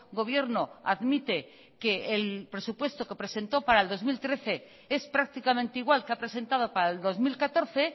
gobierno admite que el presupuestoque presentó para el dos mil trece es prácticamente igual que ha presentado para el dos mil catorce